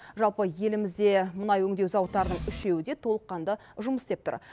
жалпы елімізде мұнай өңдеу зауыттарының үшеуі де толыққанды жұмыс істеп тұр